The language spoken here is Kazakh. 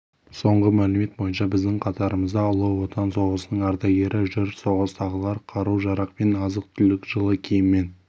соңғы мәлімет бойынша біздің қатарымызда ұлы отан соғысының ардагері жүр соғыстағылар қару-жарақ пен азық-түлік жылы киімнен